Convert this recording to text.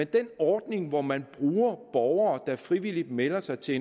den ordning hvor man bruger borgere der frivilligt melder sig til